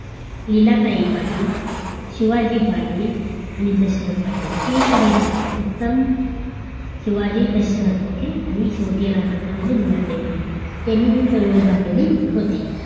लीलाताई पाटील, शिवाजी पाटील, आणि दशरथ पाटील okay हे चारही पाटील उत्तम, शिवाजी आणि दशरथ आणि शेवटी राहतात त्या म्हणजे लीलाताई पाटील यांनी ती चळवळ उभारलेली होती